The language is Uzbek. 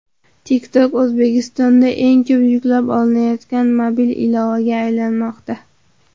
TikTok O‘zbekistonda eng ko‘p yuklab olinayotgan mobil ilovaga aylanmoqda.